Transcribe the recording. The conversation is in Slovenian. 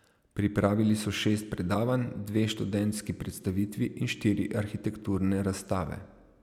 Pripravili so šest predavanj, dve študentski predstavitvi in štiri arhitekturne razstave.